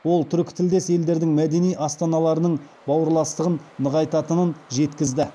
ол түркітілдес елдердің мәдени астаналарының бауырластығын нығайтатынын жеткізді